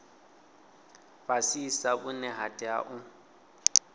fhasisa vhune ha tea u